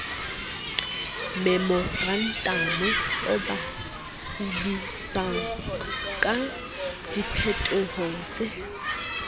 memorantamo o ba tsebisangka diphetohotse